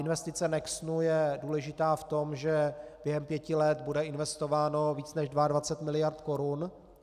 Investice Nexenu je důležitá v tom, že během pěti let bude investováno více než 22 miliard korun.